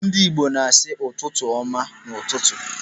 Ndị Igbo na-asị "ụtụtụ ọma" n'ụtụtụ.